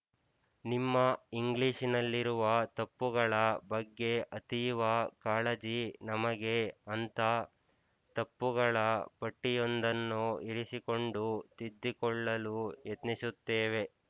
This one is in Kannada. ನಿಮ್ಮ ಇಂಗ್ಲಿಶಿನಲ್ಲಿರುವ ತಪ್ಪುಗಳ ಬಗ್ಗೆ ಅತೀವ ಕಾಳಜಿ ನಮಗೆ ಅಂಥ ತಪ್ಪುಗಳ ಪಟ್ಟಿಯೊಂದನ್ನು ಇರಿಸಿಕೊಂಡು ತಿದ್ದಿಕೊಳ್ಳಲು ಯತ್ನಿಸುತ್ತೇವೆ